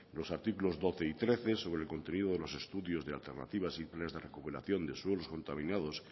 los artículos doce y trece sobre el contenido de los estudios de alternativas y planes de recuperación de suelos contaminados